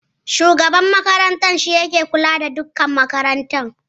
Shugaban makarantar shi yake kula da dukan al'amura makarantar